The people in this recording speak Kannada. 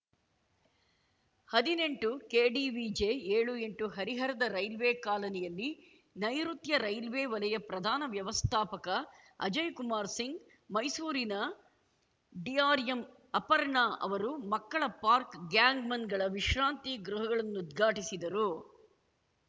ಹದಿನೆಂಟು ಕೆಡಿವಿಜಿ ಏಳು ಎಂಟು ಹರಿಹರದ ರೈಲ್ವೆ ಕಾಲನಿಯಲ್ಲಿ ನೈರುತ್ಯ ರೈಲ್ವೆ ವಲಯ ಪ್ರಧಾನ ವ್ಯವಸ್ಥಾಪಕ ಅಜಯ್ ಕುಮಾರ್ ಸಿಂಗ್‌ ಮೈಸೂರಿನ ಡಿಆರ್‌ಎಂ ಅಪರ್ಣಾ ಅವರು ಮಕ್ಕಳ ಪಾರ್ಕ್ ಗ್ಯಾಂಗ್‌ ಮನ್‌ಗಳ ವಿಶ್ರಾಂತಿ ಗೃಹಗಳನ್ನುಉದ್ಘಾಟಿಸಿದರು